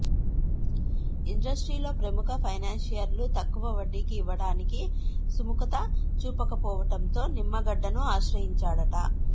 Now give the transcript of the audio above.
ఇండస్ట్రీలో ప్రముఖ ఫైనాన్షియర్లు తక్కువ వడ్డీకి ఇవ్వడానికి సుముఖత చూపకపోవడంతో నిమ్మగడ్డను ఆశ్రయించాడట